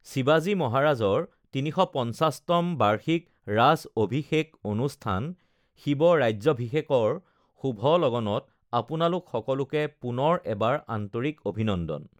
শিৱাজী মহাৰাজৰ ৩৫০ তম বাৰ্ষিক ৰাজঅভিষেক অনুষ্ঠান শিৱ ৰাজ্যভিষেকৰ শুভ লগনত আপোনালোক সকলোকে পুনৰ এবাৰ আন্তৰিক অভিনন্দন!